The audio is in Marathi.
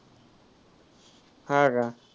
हां का?